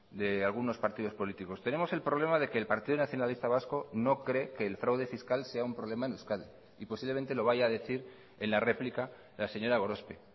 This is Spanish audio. de algunos partidos políticos tenemos el problema de que el partido nacionalista vasco no cree que el fraude fiscal sea un problema en euskadi y posiblemente lo vaya a decir en la réplica la señora gorospe